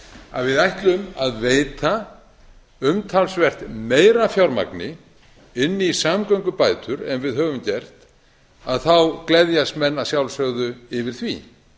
að við ætlum að veita umtalsvert meira af fjármagni inn í samgöngubætur en við höfum gert þá gleðjast menn að sjálfsögðu yfir því